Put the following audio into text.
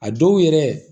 A dɔw yɛrɛ